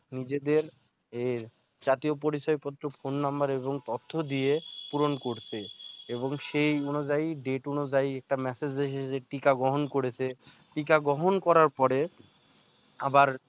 নিজেদের এর জাতীয় পরিচয়পত্র phone number এবং তথ্য দিয়ে পূরণ করতে এবং সেই অনুযায়ী date অনুযায়ী একটা message দেছে যে টীকা গ্রহণ করেছে টিকা গ্রহণ করার পরে আবার